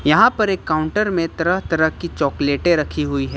यहां पर एक काउंटर में तरह तरह की चॉकलेटे रखी हुई है।